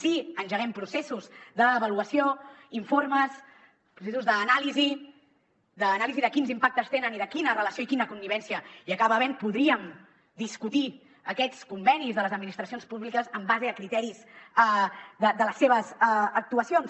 si engeguem processos d’avaluació informes processos d’anàlisi d’anàlisi de quins impactes tenen i de quina relació i quina connivència hi acaba havent podríem discutir aquests convenis de les administracions públiques en base a criteris de les seves actuacions